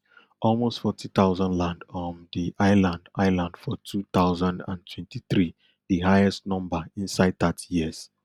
almost forty thousand land um di island island for two thousand and twenty-three di highest number inside thirty years